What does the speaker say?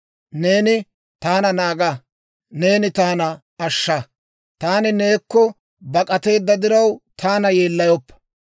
Neeni taana naaga; neeni taana ashsha; taani neekko bak'ateedda diraw, taana yeellayoppa.